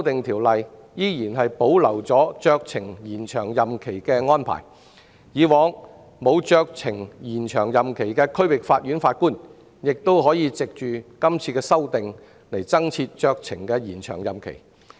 《條例草案》保留酌情延長任期的安排，以往不能酌情延長任期的區域法院法官亦可藉今次修訂酌情延長任期。